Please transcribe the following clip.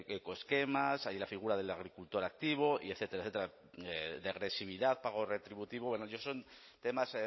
ecoesquemas hay la figura del agricultor activo y etcétera etcétera de agresividad pago retributivo bueno son temas